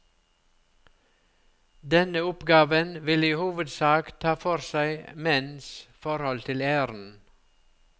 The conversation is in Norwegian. Denne oppgaven vil i hovedsak ta for seg menns forhold til æren.